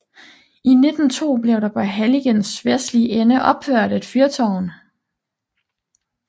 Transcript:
I 1902 blev der på halligens vestlige ende opført et fyrtårn